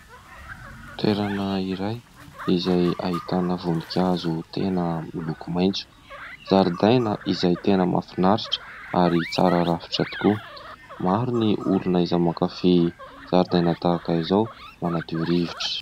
Toerana iray izay ahitana voninkazo tena miloko maitso. Zaridaina izay tena mahafinaritra ary tsara rafitra tokoa. Maro ny olona izay mankafy zaridaina tahaka izao, manadio rivotra.